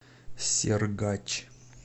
сергач